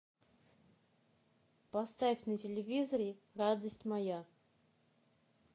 поставь на телевизоре радость моя